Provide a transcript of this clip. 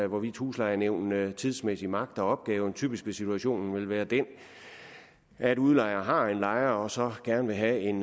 hvorvidt huslejenævnene tidsmæssigt magter opgaven typisk vil situationen vel være den at udlejer har en lejer og så gerne vil have en